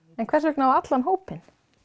en hvers vegna á allan hópinn